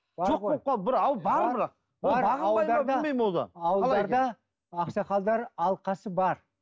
жоқ болып қалды бар бірақ ауылдарда ақсақалдар алқасы бар